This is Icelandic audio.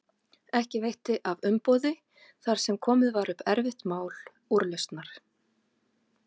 Ekki veitti af umboði þar sem komið var upp erfitt mál úrlausnar.